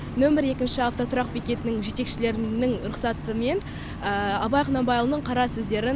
нөмірі екінші автотұрақ бекетінің жетекшілерінің рұқсатымен абай құнанбайұлының қара сөздерін